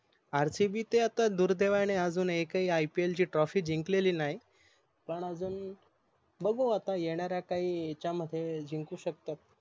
RCB ते आता दुर्देवाने अजून एकही IPL ची TROPHY जिंकलेली नाही पण अजून बघू आता येणाऱ्या काही याच्या मध्ये जिंकू शकत